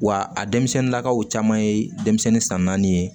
Wa a denmisɛnnin lakaw caman ye denmisɛnnin san naani ye